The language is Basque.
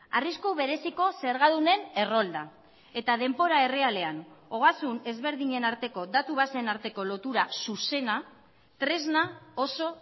arrisku bereziko zergadunen errolda eta denbora errealean ogasun ezberdinen arteko datu baseen arteko lotura zuzena tresna oso